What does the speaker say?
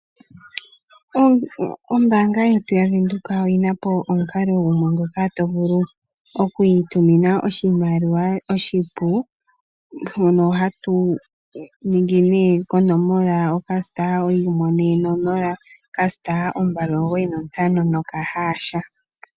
Ombaanga yetu yaVenduka oyi napobomukalo gumwe mpoka to vulu oku itumina oshimaliwa oshipu, mpono hodhenge *140*295#.